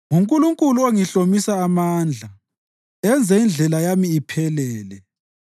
NguNkulunkulu ongihlomisa amandla enze indlela yami iphelele.